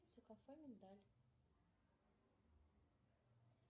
кафе миндаль